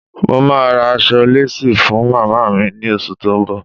Mo máa ra aṣọ lésì fún màmá mi ní oṣù tó ń bọ̀.